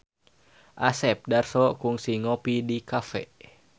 Asep Darso kungsi ngopi di cafe